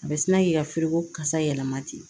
A bɛ sina k'i ka feereko kasa yɛlɛma ten